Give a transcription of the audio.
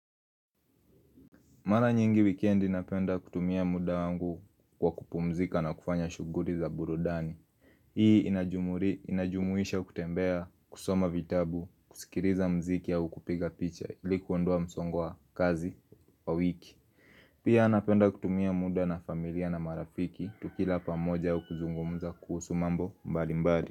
Mara nyingi wikendi napenda kutumia muda wangu kwa kupumzika na kufanya shughuli za burudani Hii inajumuisha kutembea, kusoma vitabu, kusikiliza mziki au kupiga picha ili kuondoa msongo wa kazi wa wiki Pia napenda kutumia muda na familia na marafiki tukila pamoja au kuzungumza kuhusu mambo mbalimbali.